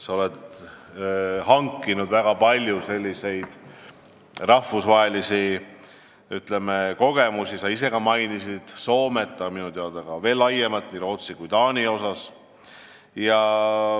Sa oled hankinud väga palju rahvusvahelisi kogemusi, sa ise mainisid Soomet, aga minu teada oled sa teinud seda veel laiemalt, nii Rootsi kui ka Taani kohta.